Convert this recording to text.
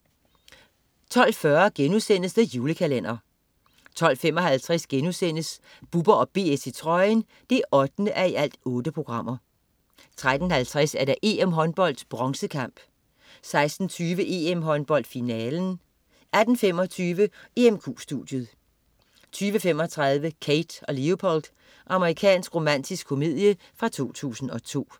12.40 The Julekalender* 12.55 Bubber & BS i trøjen 8:8* 13.50 EM-håndbold: Bronzekamp 16.20 EM-håndbold: Finalen 18.25 EMQ studiet 20.35 Kate & Leopold. Amerikansk romantisk komedie fra 2002